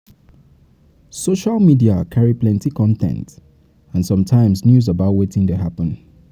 Social media carry plenty con ten t and some times news about wetin dey happen